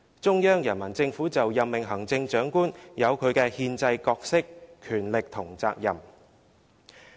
中央人民政府就任命行政長官有其憲制角色、權力和責任。